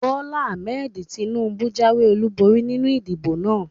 Bólá Ahmed Tinúbú jáwé ọlúborí nínu ìdìbò náà